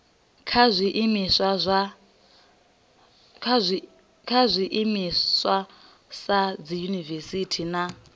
kha zwiimiswa sa dziyunivesiti na